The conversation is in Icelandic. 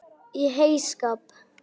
Í heyskap